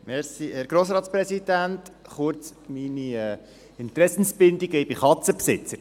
Kurz meine Interessenbindung: Ich bin Katzenbesitzer.